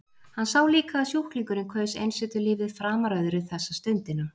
Hann sá líka að sjúklingurinn kaus einsetulífið framar öðru þessa stundina.